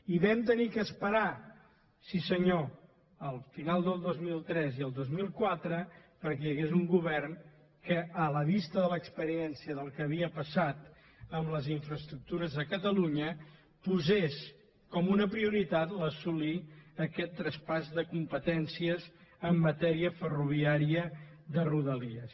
i vam haver d’esperar sí senyor al final del dos mil tres i el dos mil quatre perquè hi hagués un govern que a la vista de l’experiència del que havia passat amb les infraestructures a catalunya posés com una prioritat assolir aquest traspàs de competències en matèria ferroviària de rodalies